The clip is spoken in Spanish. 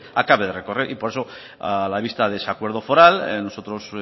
acabe de recorrer y por eso a la vista de ese acuerdo foral nosotros